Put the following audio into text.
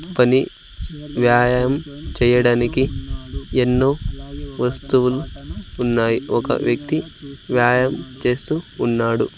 పని వ్యాయామం చేయడానికి ఎన్నో వస్తువులు ఉన్నాయి ఒక వ్యక్తి వ్యాయామం చేస్తూ ఉన్నాడు.